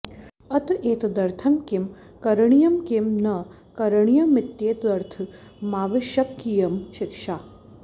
अत एतदर्थं किं करणीयं किं न करणीयमित्येतदर्थमावश्यकीयं शिक्षा